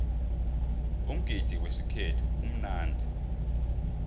umgidi wesikhethu umnandi